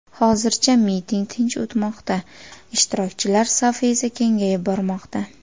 Hozircha miting tinch o‘tmoqda, ishtirokchilar safi esa kengayib bormoqda.